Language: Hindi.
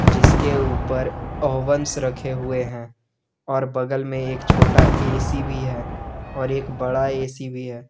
जिसके ऊपर ओवंस रखे हुए हैं और बगल में एक छोटा ए सी भी है और एक बड़ा ए सी भी है।